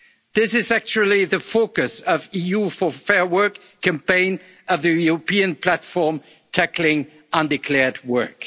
to declared work. This is actually the focus of the EU for Fair Work campaign of the European platform on tackling